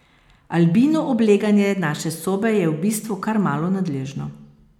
Albino obleganje naše sobe je v bistvu kar malo nadležno.